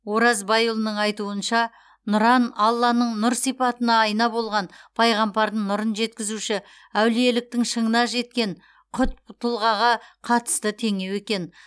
ораз байұлының айтуынша нұран алланың нұр сипатына айна болған пайғамбардың нұрын жеткізуші әулиеліктің шыңына жеткен құтб тұлғаға қатысты теңеу екен